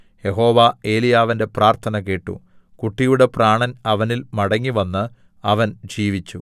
യഹോവ ഏലീയാവിന്റെ പ്രാർത്ഥന കേട്ടു കുട്ടിയുടെ പ്രാണൻ അവനിൽ മടങ്ങിവന്ന് അവൻ ജീവിച്ചു